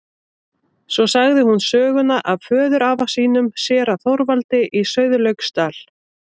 Svo sagði hún söguna af föðurafa sínum, séra Þorvaldi í Sauðlauksdal.